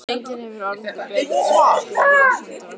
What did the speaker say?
Enginn hefur orðað þetta betur á íslensku en Vatnsenda-Rósa